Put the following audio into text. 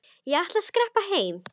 Ég ætla að skreppa heim.